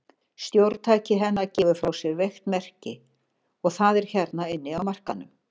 Stjórntæki hennar gefur frá sér veikt merki, og það er hérna inni á markaðnum.